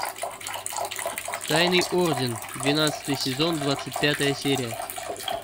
тайный орден двенадцатый сезон двадцать пятая серия